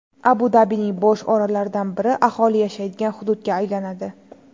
Abu-Dabining bo‘sh orollaridan biri aholi yashaydigan hududga aylanadi.